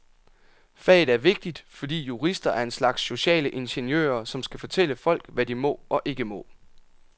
Faget er vigtigt, fordi jurister er en slags sociale ingeniører, som skal fortælle folk, hvad de må og ikke må.